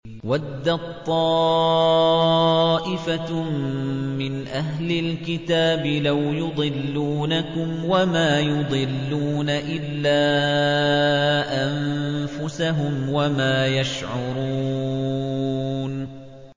وَدَّت طَّائِفَةٌ مِّنْ أَهْلِ الْكِتَابِ لَوْ يُضِلُّونَكُمْ وَمَا يُضِلُّونَ إِلَّا أَنفُسَهُمْ وَمَا يَشْعُرُونَ